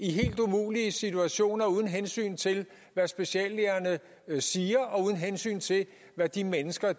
i helt umulige situationer uden hensyn til hvad speciallægerne siger og uden hensyn til hvad de mennesker